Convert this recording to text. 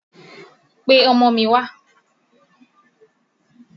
Pe ọmọ mi wà!